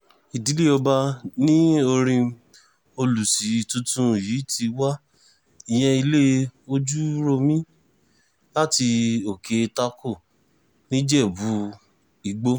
ìdílé ọba ni orím olùṣí tuntun yìí ti wá ìyẹn ilé ojúròmi láti òkè tako nìjẹ́bú-ìgbò